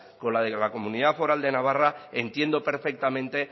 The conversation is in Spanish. con el de la comunidad foral de navarra entiendo perfectamente